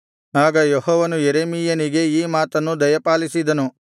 ಆಗ ಯೆಹೋವನು ಯೆರೆಮೀಯನಿಗೆ ಈ ಮಾತನ್ನು ದಯಪಾಲಿಸಿದನು